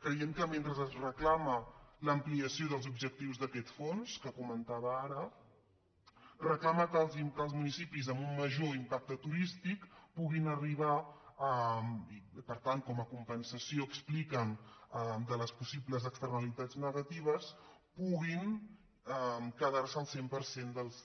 creiem que mentre es reclama l’ampliació dels objectius d’aquest fons que comentava ara reclama que els municipis amb un major impacte turístic puguin arribar a per tant com a compensació expliquen de les possibles externalitats negatives quedar se el cent per cent dels